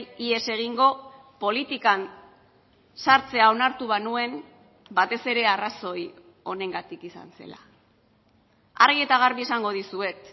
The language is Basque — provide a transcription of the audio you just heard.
ihes egingo politikan sartzea onartu banuen batez ere arrazoi honengatik izan zela argi eta garbi esango dizuet